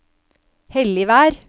Helligvær